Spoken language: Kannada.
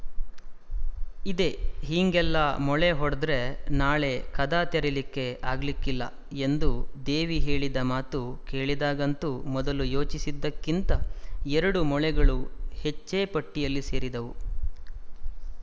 ಇದೆ ಹೀಂಗೆಲ್ಲಾ ಮೊಳೆ ಹೊಡ್ದ್‍ರೆ ನಾಳೆ ಕದಾ ತೆರೀಲಿಕ್ಕೆ ಆಗ್ಲಿಕ್ಕಿಲ್ಲಾ ಎಂದು ದೇವಿ ಹೇಳಿದ ಮಾತು ಕೇಳಿದಾಗಂತೂ ಮೊದಲು ಯೋಚಿಸಿದ್ದಕ್ಕಿಂತ ಎರಡು ಮೊಳೆಗಳು ಹೆಚ್ಚೇ ಪಟ್ಟಿಯಲ್ಲಿ ಸೇರಿದವು